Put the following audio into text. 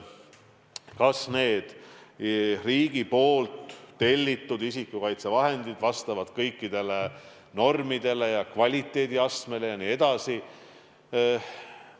Kas need riigi tellitud isikukaitsevahendid vastavad kõikidele normidele, kvaliteediastmele jne?